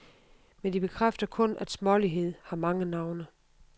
Men de bekræfter kun at smålighed har mange navne.